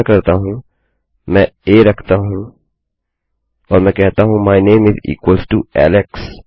मैं क्या करता हूँ मैं आ रखता हूँ और मैं कहता हूँ my name is equals to Alex